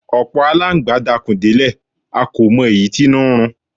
Ọ̀pọ̀ alángbá dakùn délẹ̀ a kò mọ èyí tínú n run